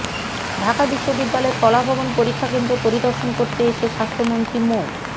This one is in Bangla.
ঢাকা বিশ্ববিদ্যালয়ের কলাভবন পরীক্ষাকেন্দ্র পরিদর্শন করতে এসে স্বাস্থ্যমন্ত্রী মো